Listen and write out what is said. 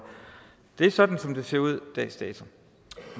er sådan som det ser ud dags dato